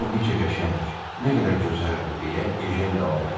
O necə qəşəng, nə qədər gözəldir, deyə Ejen davam elədi.